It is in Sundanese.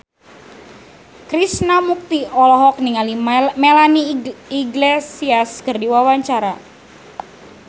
Krishna Mukti olohok ningali Melanie Iglesias keur diwawancara